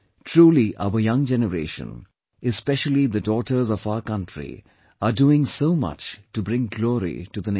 Truly our young generation, especially the daughters of our country are doing so much to bring glory to the nation